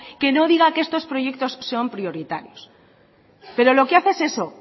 que no diga que estos proyectos son prioritarios pero lo que hace es eso